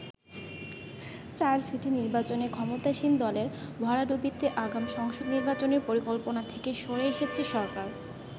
চার সিটি নির্বাচনে ক্ষমতাসীন দলের ভরাডুবিতে আগাম সংসদ নির্বাচনের পরিকল্পনা থেকে সরে এসেছে সরকার।